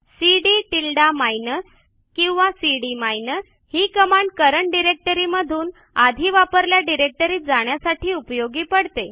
CD tilde minus किंवा cd minus ही command current directory मधून आधी वापरलेल्या डिरेक्टरीत जाण्यासाठी उपयोगी पडते